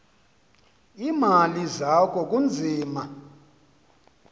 iimali zakho kunzima